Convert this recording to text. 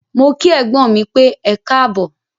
Mó kí ẹ̀gbọ́n mí pẹ́, ẹkáàbọ̀.